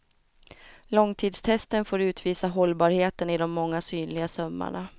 Långtidstesten får utvisa hållbarheten i de många synliga sömmarna.